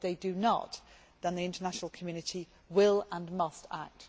If they do not, then the international community will and must act.